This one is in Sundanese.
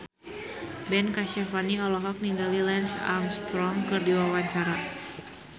Ben Kasyafani olohok ningali Lance Armstrong keur diwawancara